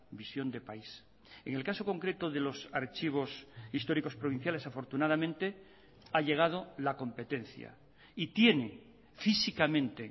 visión de país en el caso concreto de los archivos históricos provinciales afortunadamente ha llegado la competencia y tiene físicamente